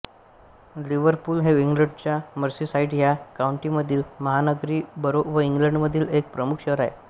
Liverpool हे इंग्लंडच्या Merseyside ह्या काउंटीमधील महानगरी बरो व इंग्लंडमधील एक प्रमुख शहर आहे